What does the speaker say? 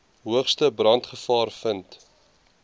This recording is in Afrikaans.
hoogste brandgevaar vind